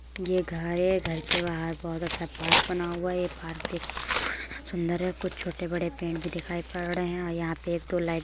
'' ये घर है| घर के बाहर बोहोत अच्छा पार्क बना हुआ है| ये पार्क देखने में'''' सुंदर है| कुछ छोटे बड़े पेड़ भी दिखाई पड़ रहे है और यहाँ पे एक दो लाइट --''